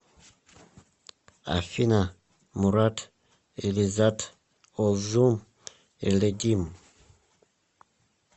афина мурад элизад озум элидим